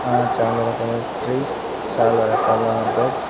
ఆ చాలా రకాల ట్రీస్ చాలా రకాల బర్డ్స్ .